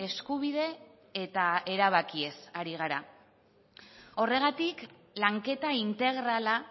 eskubide eta erabakiez ari gara horregatik lanketa integrala